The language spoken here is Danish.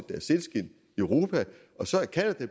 europa og så er canada